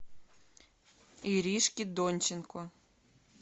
иришке донченко